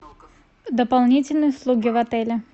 дополнительные услуги в отеле